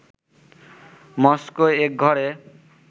Moscow একঘরে